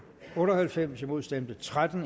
otte og halvfems imod stemte tretten